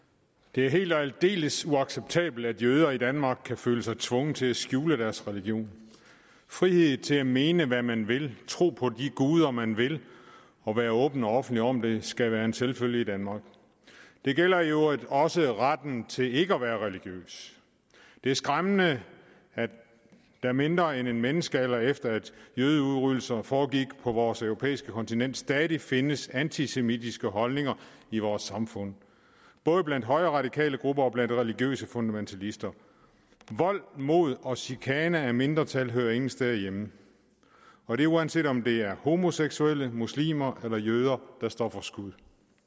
det er helt og aldeles uacceptabelt at jøder i danmark kan føle sig tvunget til at skjule deres religion frihed til at mene hvad man vil tro på de guder man vil og være åben og offentlig om det skal være en selvfølge i danmark det gælder i øvrigt også retten til ikke at være religiøs det er skræmmende at der mindre end en menneskealder efter at jødeudryddelser foregik på vores europæiske kontinent stadig findes antisemitiske holdninger i vores samfund både blandt højreradikale grupper og blandt religiøse fundamentalister vold mod og chikane af mindretal hører ingen steder hjemme og det er uanset om det er homoseksuelle muslimer eller jøder der står for skud